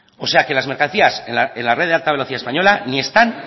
o sea que las mercancías en la red de alta velocidad española ni están